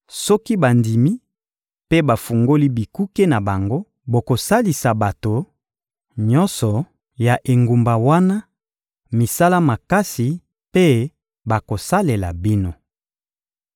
Soki bandimi mpe bafungoli bikuke na bango, bokosalisa bato nyonso ya engumba wana misala makasi mpe bakosalela bino.